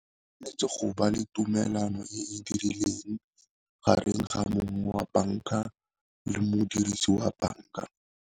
Tshwanetse go ba le tumelano e dirileng gareng ga mongwe wa banka le modirisi wa banka.